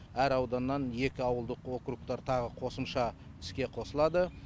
әр ауданнан екі ауылдық округтар тағы қосымша іске қосылады